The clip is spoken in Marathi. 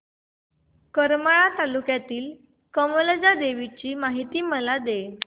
करमाळा तालुक्यातील कमलजा देवीची मला माहिती दे